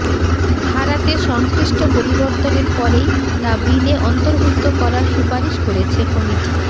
ধারাতে সংশ্লিষ্ট পরিবর্তনের পরেই তা বিলে অন্তর্ভুক্ত করার সুপারিশ করেছে কমিটি